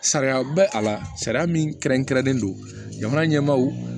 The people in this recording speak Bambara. Sariya bɛ a la sariya min kɛrɛnkɛrɛnnen don jamana ɲɛmaaw